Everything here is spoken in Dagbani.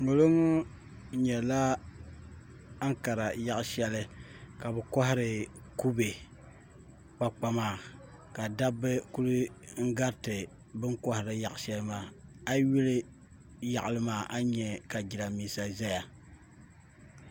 ŋo li ŋo nyɛla ankara yaɣa shɛli ka bi kohari kubɛ kpakpa maa ka dabba ku gariti bin koharili yaɣa shɛli maa a yi yuli yaɣali maa a ni nyɛ ka jiranbiisa ʒɛya